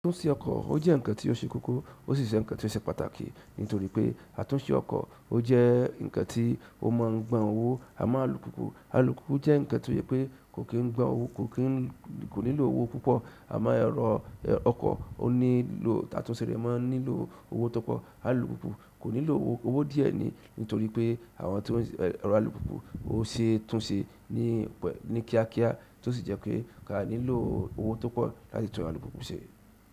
Àtúnṣe ọkọ̀ ó jẹ́ ǹkan tí ó ṣe kókó, ó sì jẹ ǹkan tí ó ṣe pàtàkì nítorí pé àtúnṣe ọkọ̀ ó jẹ́ ǹkan tí ó máa ń gbà owó, àmọ́ alùpùpù, alùpùpù jẹ́ ǹkan tó jẹ pé kò kí n gbà owó, kò nílò owó púpọ̀ àmọ́ ẹ̀rọ ọkọ̀, onílò, àtúnṣe rẹ̀ máa ń nílò owó tó pọ̀. Alùpùpù kò nílò, owó díẹ̀ ni nítorí pé àwọn tí ẹ̀rọ alùpùpù ó ṣe é tún ṣe ní kíákíá, tó sì jẹ́ pé aa nílò owó tó pọ̀ láti tún alùpùpù ṣe.